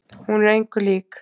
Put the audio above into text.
Hún er engu lík.